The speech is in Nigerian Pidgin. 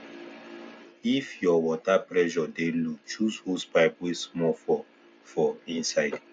if your water pressure dey low choose hosepipe wey small for for inside